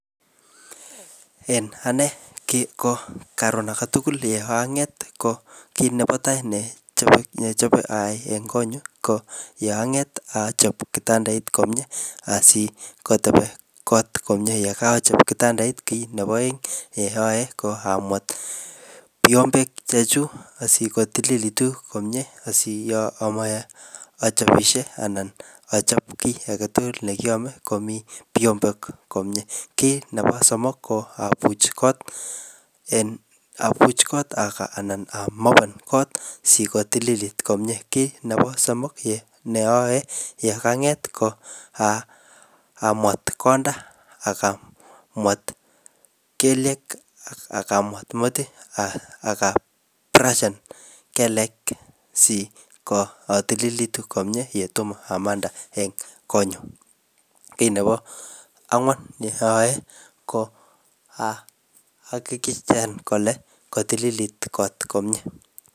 En ane kiko karon age tugul ye ang'et, ko kit nebo tai nechome nechope ayai eng kot nyu ko yeanget achop kitandait nyu komyee, asikotebi kot komyee. Yekachop kitandait kit nebo aeng ne ayae ko amwet vyombek chechuk asikotililitu komyee, asi yo amwoe achobisie anan achop kiy age tugul ne kiame komii vyombek komyee. Kit nebo somok ko apuch kot, en apuch kot, anan amopen kot sikotililit komyee. Kit nebo somok ye neyae yekanget ko, amwet konda, akamwet kelyek, akamwet metit, akabrashan kelek siko tolilitu komyee yetomo amande en kot nyu. Kit nebo angwan ne ayae ko ahakikishan kole katililit kot komyee.